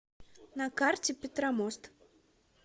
на карте петромост